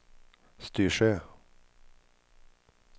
Styrsö